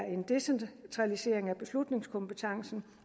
en decentralisering af beslutningskompetencen